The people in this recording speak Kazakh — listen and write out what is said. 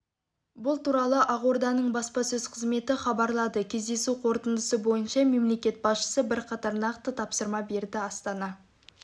бұл туралы ақорданың баспасөз қызметі хабарлады кездесу қорытындысы бойынша мемлекет басшысы бірқатар нақты тапсырма берді астана